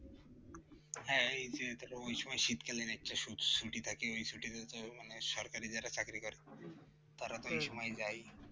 হ্যাঁ এই যে ধরো ওই সময় শীতকালের একটা স্মৃতি থাকে সরকারি যারা চাকরি করে তারা এই সময় যায়